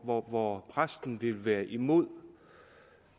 hvor hvor præsten vil være imod